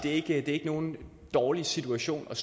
ikke i nogen dårlig situation jeg